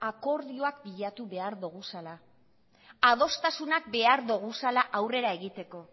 akordioak bilatu behar doguzala adostasunak behar doguzala aurrera egiteko